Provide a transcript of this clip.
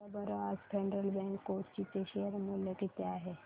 सांगा बरं आज फेडरल बँक कोची चे शेअर चे मूल्य किती आहे